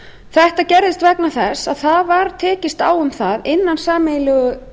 þetta gerðist vegna þess að það var tekist um það innan sameiginlegu